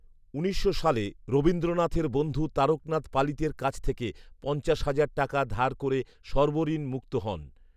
উনিশশো সালে রবীন্দ্রনাথের বন্ধু তারকনাথ পালিতের কাছ থেকে পঞ্চাশ হাজার টাকা ধার করে সর্বঋণ মুক্ত হন